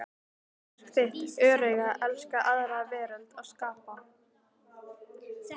Það er hlutverk þitt, öreiga æska aðra veröld að skapa